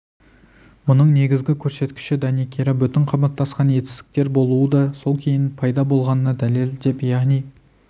мұның негізгі көрсеткіші дәнекері бүтін қабаттасқан етістіктер болуы да сол кейін пайда болғанына дәлел деп яғни